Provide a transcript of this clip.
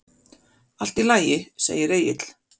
Allt í lagi, segir Egill.